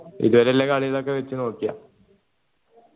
ഇതുവരെയുള്ള കളികളൊക്കെ വച്ചു നോക്കിയാ